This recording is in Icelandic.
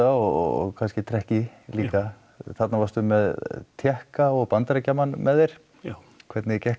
og kannski trekki líka þarna varstu með Tékka og Bandaríkjamann með þér hvernig gekk